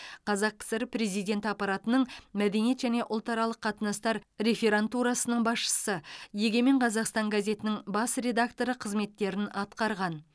қазақ кср президенті аппаратының мәдениет және ұлтаралық қатынастар реферантурасының басшысы егемен қазақстан газетінің бас редакторы қызметтерін атқарған